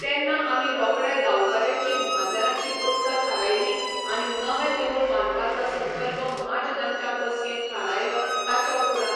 तेन्ना आमी रोकडे गांवकऱ्याची म्हाजनाची बसका थारायली आनी नवें देवूळ बांदपाचो संकल्प महाजनांच्या बसकेंत थारायलो ताच्या उपरान